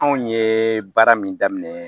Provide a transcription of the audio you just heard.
Anw ye baara min daminɛ